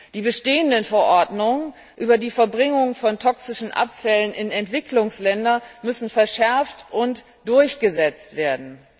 Die bestehenden Verordnungen über die Verbringung von toxischen Abfällen in Entwicklungsländer müssen verschärft und durchgesetzt werden.